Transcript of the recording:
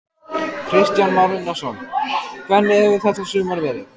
Kristján Már Unnarsson: Hvernig hefur þetta sumar verið?